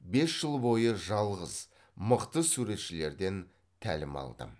бес жыл бойы жалғыз мықты суретшілерден тәлім алдым